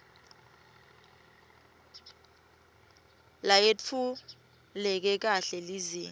leyetfuleke kahle lizinga